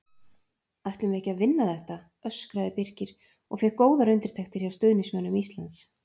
Ætlum við ekki að vinna þetta? öskraði BIrkir og fékk góðar undirtektir hjá stuðningsmönnum Íslands.